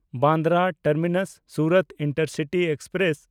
Bandra ᱴᱟᱨᱢᱤᱱᱟᱥ–ᱥᱩᱨᱟᱛ intercity express